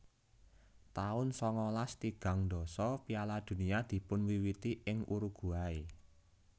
taun sangalas tigang dasa Piala Dunia dipunwiwiti ing Uruguay